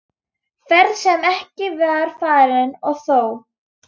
Ferð sem ekki var farin- og þó!